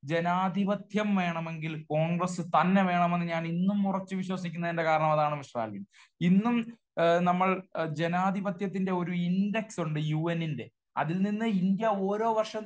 ജനാധിപത്യം വേണമെങ്കിൽ കോൺഗ്രസ്സ് തന്നെ വേണമെന്ന് ഞാൻ ഇന്നും ഉറച്ച് വിശ്വസിക്കുന്നതിന്റെ കാരണം അതാണ് മിസ്റ്റർ ആൽവിൻ. ഇന്നും നമ്മൾ ജനാധിപത്യത്തിന്റെ ഒരു ഇൻഡെക്സ് ഉണ്ട് യുഎന്നിന്റെ. അതിൽ നിന്ന് ഇന്ത്യ ഓരോ വർഷം